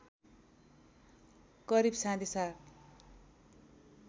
करिब साढे सात